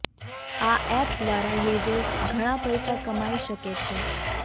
આ એપ દ્વારા યુઝર્સ ઘણા પૈસા કમાઈ શકે છે